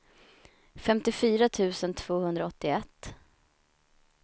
femtiofyra tusen tvåhundraåttioett